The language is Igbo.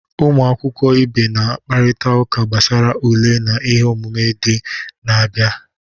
Ụmụ akwụkwọ ibe na-akparịta ụka gbasara ule na ihe omume ndị na-abịa